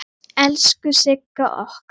Elsku Sigga okkar.